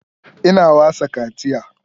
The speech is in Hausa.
Ina wasa kaciya